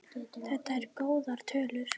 Þetta eru góðar tölur.